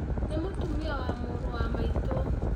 Nĩ mũtumia wa mũrũ wa maitũ.